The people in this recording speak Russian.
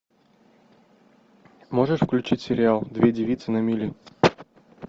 можешь включить сериал две девицы на мели